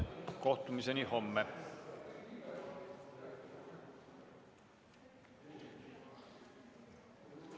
Kohtumiseni homme!